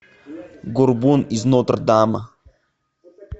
горбун из нотр дама